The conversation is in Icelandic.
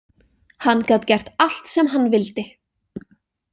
Hann gat gert allt sem hann vildi.